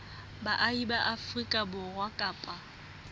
baahi ba afrika borwa kapa